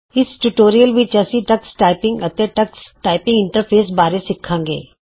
ਇਸ ਟਯੂਟੋਰੀਅਲ ਵਿਚ ਤੁਸੀਂ ਟਕਸ ਟਾਈਪਿੰਗ ਅਤੇ ਟਕਸ ਟਾਈਪਿੰਗ ਇੰਟਰਫੇਸ ਬਾਰੇ ਸਿਖੋਗੇ